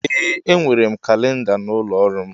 Ee enwere m kalinda n'ụlọ ọrụ m.